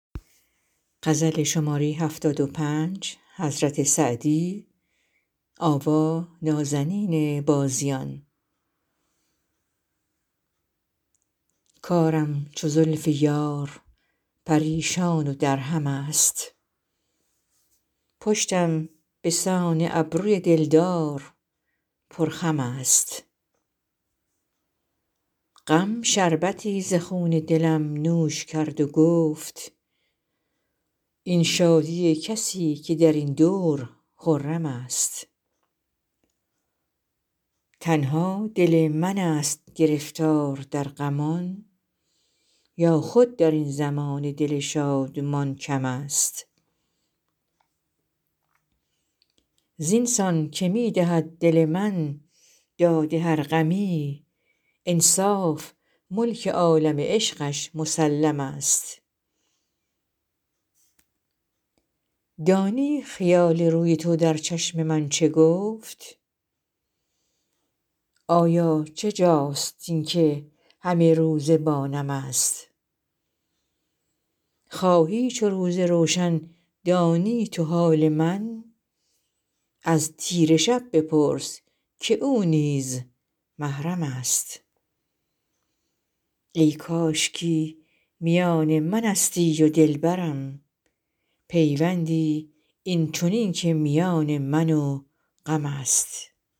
کارم چو زلف یار پریشان و درهم است پشتم به سان ابروی دل دار پرخم است غم شربتی ز خون دلم نوش کرد و گفت این شادی کسی که در این دور خرم است تنها دل من ست گرفتار در غمان یا خود در این زمانه دل شادمان کم است زین سان که می دهد دل من داد هر غمی انصاف ملک عالم عشقش مسلم است دانی خیال روی تو در چشم من چه گفت آیا چه جاست این که همه روزه با نم است خواهی چو روز روشن دانی تو حال من از تیره شب بپرس که او نیز محرم است ای کاشکی میان من استی و دل برم پیوندی این چنین که میان من و غم است